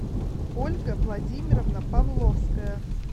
ольга владимировна павловская